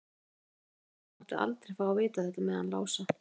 Hún Abba hin mátti aldrei fá að vita þetta með hann Lása.